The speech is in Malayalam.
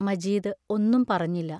മജീദ് ഒന്നും പറഞ്ഞില്ല.